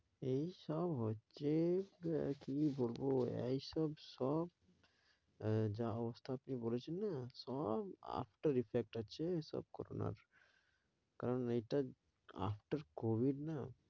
এইসব হচ্ছে আরে কী বলব এইসব সব আহ যা অবস্থা আপনি বলেছেন না সব আস্ত reflect আছে এসব করোনার। কারণ এইটা after COVID না?